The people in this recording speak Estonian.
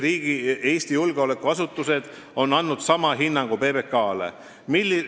Eesti julgeolekuasutused on andnud sama hinnangu PBK-le.